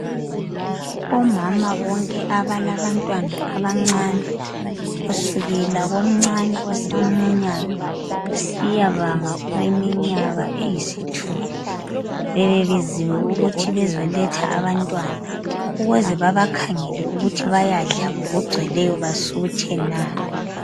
Omama bonke abalabantwana abancane kusukela komncane osamunyayo kusiyabanga oleminyaka eyisithupha bebebiziwe ukuthi bezoletha abantwana ukuze bebakhangele ukuthi bayadla ngokugcweleyo basuthe na.